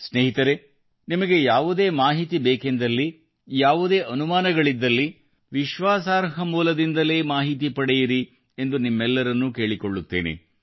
ಸ್ನೇಹಿತರೆ ನಿಮಗೆ ಯಾವುದೇ ಮಾಹಿತಿ ಬೇಕೆಂದಲ್ಲಿ ಯಾವುದೇ ಅನುಮಾನಗಳಿದ್ದಲ್ಲಿ ವಿಶ್ವಾಸಾರ್ಹ ಮೂಲದಿಂದಲೇ ಮಾಹಿತಿ ಪಡೆಯಿರಿ ಎಂದು ನಿಮ್ಮೆಲ್ಲರನ್ನು ಕೇಳಿಕೊಳ್ಳುತ್ತೇನೆ